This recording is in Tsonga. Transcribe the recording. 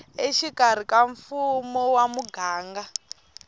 exikarhi ka mfumo wa muganga